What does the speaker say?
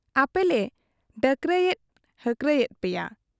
ᱟᱹᱯᱮᱞᱮ ᱰᱟᱠᱨᱟᱭᱮᱫ ᱦᱟᱠᱨᱟ ᱮᱫ ᱯᱮᱭᱟ ᱾